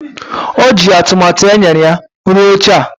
O ji atụmatụ e nyere ya rụọ oche a.